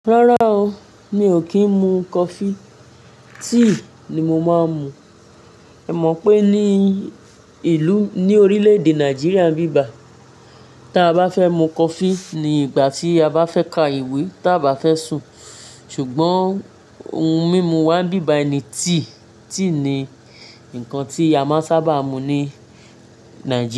Rárá o, mi ò kí ń mu coffee, tea ni mo máa ń mu. Ẹ mọ̀ pé ní ìlú ní orílẹ̀ èdè Nàìjíríà bí bà, tí a bá fẹ́ mu coffee ní ìgbà tí a bá fẹ́ ka ìwé tí a bá fẹ́ sùn, ṣùgbọ́n ohun mímu wa ń ibi báyìí ni tea. Tea ni nǹkan tí a máa sábà mu ní Nàìjíríà.